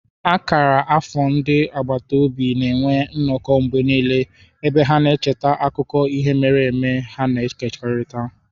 Akara akara afọ ndị agbata obi na-enwe nnọkọ mgbe niile, ebe ha na-echeta akụkọ ihe mere eme ha na-ekekọrịta.